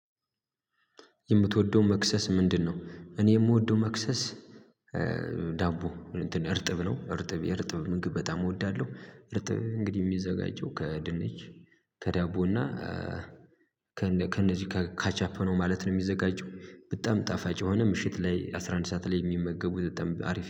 የምትወደው መክሰስ ምንድነው? እኔ የምወደው መክሰስ ዳቦ እርጥብ ነው እርጥብ የእርጥብ ምግብ በጣም እወዳለሁ እርጥብ እንግዲህ የሚዘጋጀው ከድንች ከዳቦና ከነዚህ ካቻፕ ነው ማለት ነው የሚዘጋጀው በጣም ጣፋጭ የሆነ ምሽት ላይ አስራ አንድ ሰዓት ላይ የሚመገቡ ዘጠኝ አሪፍ